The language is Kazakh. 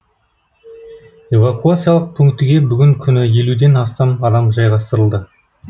эвакуациялық пунктіне бүгінгі күні елуден астам адам жайғастырылды